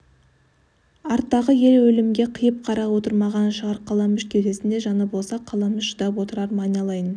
арттағы ел өлімге қиып қарап отырмаған шығар қаламүш кеудесінде жаны болса қаламүш шыдап отырар ма айналайын